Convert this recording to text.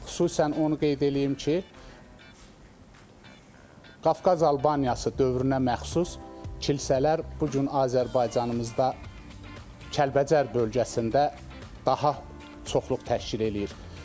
Xüsusən onu qeyd eləyim ki, Qafqaz Albaniyası dövrünə məxsus kilsələr bu gün Azərbaycanımızda Kəlbəcər bölgəsində daha çoxluq təşkil eləyir.